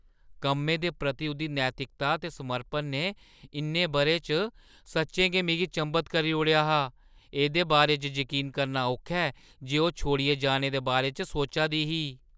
कम्मै प्रति उʼदी नैतिकता ते समर्पण ने इʼनें बʼरें च सच्चें गै मिगी चंभत करी ओड़ेआ हा; एह्दे बारे च जकीन करना औखा ऐ जे ओह् छोड़ियै जाने दे बारे च सोचा दी ही।